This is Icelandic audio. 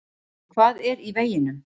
En hvað er í veginum?